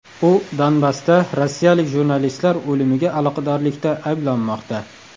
U Donbassda rossiyalik jurnalistlar o‘limiga aloqadorlikda ayblanmoqda.